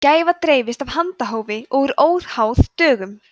gæfa dreifist af handahófi og er óháð dögum